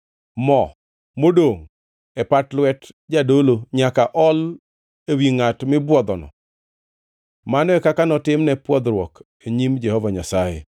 Mo modongʼ e pat lwet jadolo, nyaka ool ewi ngʼat mipwodhono. Mano e kaka notimne pwodhruok e nyim Jehova Nyasaye.